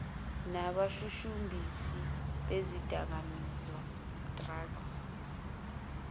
nabashushumbisi bezidakamizwa drug